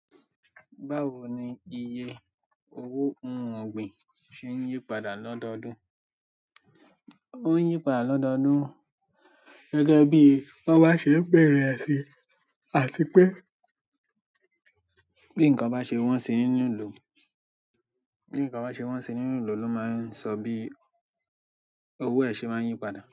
Báwo ni iye owó ohun ọ̀gbìn ṣe n yípadà lọ́dọọdún? O n yípadà lọ́dọọdún gẹ́gẹ́ bi wọn ba se n bẹ̀rẹ ẹ sin, àti pé bí nkán ba ṣe wọ́n sì ni lilo, bi nkán ba ṣe wọ́n sì ni lilo lo ma n sọ bi owó ẹ̀ sé má n yípadà.